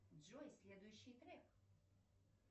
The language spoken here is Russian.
джой следующий трек